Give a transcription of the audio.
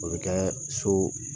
O bɛ kɛ so